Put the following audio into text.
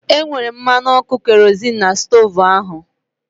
E nwere mmanụ ọkụ kerozịn n'stoovu ahu